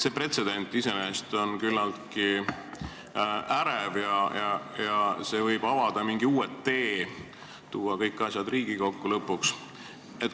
See pretsedent iseenesest on küllaltki ärevaks tegev ja see võib avada mingi uue tee, tuua lõpuks kõik asjad Riigikokku.